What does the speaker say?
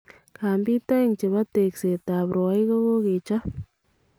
Kambiit aeng chebo taakseetab rwaiik kokakechop